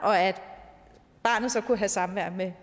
og at barnet så kunne have samvær med